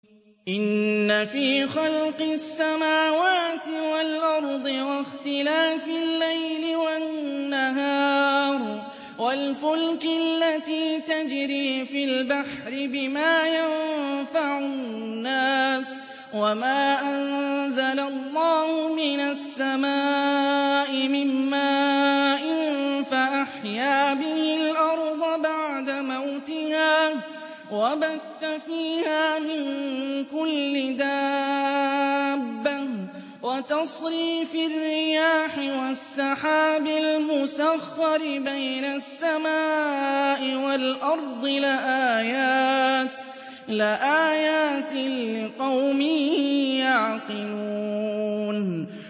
إِنَّ فِي خَلْقِ السَّمَاوَاتِ وَالْأَرْضِ وَاخْتِلَافِ اللَّيْلِ وَالنَّهَارِ وَالْفُلْكِ الَّتِي تَجْرِي فِي الْبَحْرِ بِمَا يَنفَعُ النَّاسَ وَمَا أَنزَلَ اللَّهُ مِنَ السَّمَاءِ مِن مَّاءٍ فَأَحْيَا بِهِ الْأَرْضَ بَعْدَ مَوْتِهَا وَبَثَّ فِيهَا مِن كُلِّ دَابَّةٍ وَتَصْرِيفِ الرِّيَاحِ وَالسَّحَابِ الْمُسَخَّرِ بَيْنَ السَّمَاءِ وَالْأَرْضِ لَآيَاتٍ لِّقَوْمٍ يَعْقِلُونَ